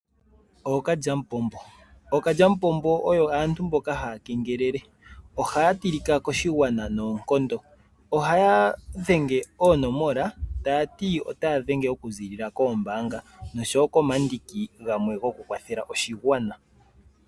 Ookalyapombo, ookalyapombo oyo aantu mboka haya kengelele ohaya tilika koshigwana noonkondo, ohaya dhenge oonomola ta yati ota ya dhenge okuziilila koombanga noshowo komandiki gamwe goku kwathela oshigwana.